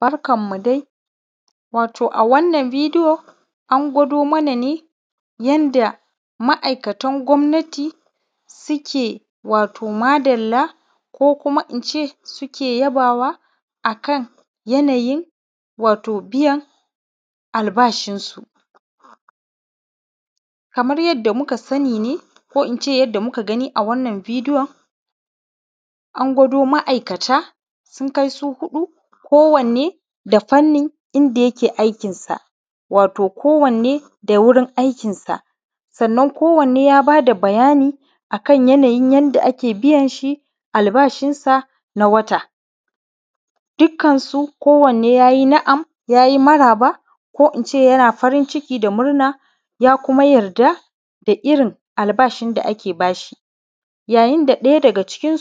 Barkan mu dai wato a wannan bideyo an gwado mana ne yanda ma aikatan gwamnati suke wato madalla ku kuma ince suke yabawa akan yanayin wato biyan al bashi su. Kamar yadda muka sani ne ko ince yadda muka gani a wannan bideyon, an gwado ma’ikata sun kai su huɗu ko wane da fannin inda yake aikin sa wato ko wane da wurin aikin sa, sannan ko wane ya bada bayani akan yanayin yanda ake biyanshi al’bashin sa na wata Dukkan su ko wanne yayi na’am yayi maraba ko ince yana farin ciki da murna ya kuma yarda da irrin al bashin da ake bashi. Ya yinda ɗaya daga cikin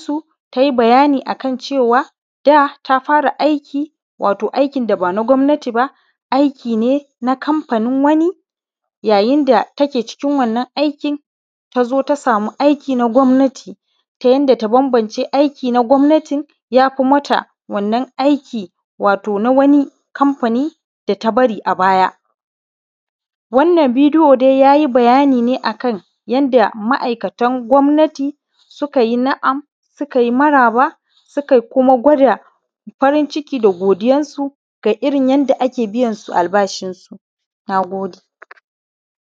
tai bayanin cewa da ta fara aiki, wato aikin daba na gwamnati ba aikin na kamfanin wani yayin da take cikin wannan aiki, tazo ta sama aiki na gwamnati ta bambamce aiki na gwamnatin yafi mata wannan aikin wato na kamfani da ta bari a baya. Wannan bideyo yayi bayani ne akan yanda wato ma’aikatan gwamnati su kayi na’am, su kayi maraba, su kayi kuma gwada farin ciki da godiyan su ga irrin yanda ake biyansu al’bashi nagode